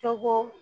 Tɔgɔ